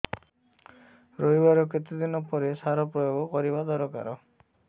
ରୋଈବା ର କେତେ ଦିନ ପରେ ସାର ପ୍ରୋୟାଗ କରିବା ଦରକାର